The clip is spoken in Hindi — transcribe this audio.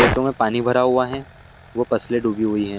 खेतों में पानी भरा हुआ है वो फसले डूबी है ।